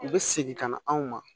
U bɛ segin ka na anw ma